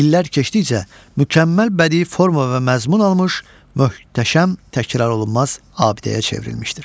İllər keçdikcə mükəmməl bədii forma və məzmun almış möhtəşəm, təkrarolunmaz abidəyə çevrilmişdir.